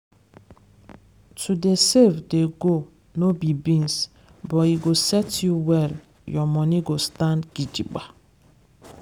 to dey save dey go no be beans but e go set you well your money go stand gidigba.